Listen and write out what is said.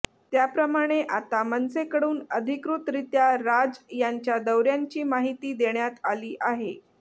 त्याप्रमाणे आता मनसेकडून अधिकृतरीत्या राज यांच्या दौऱ्यांची माहिती देण्यात आली आहे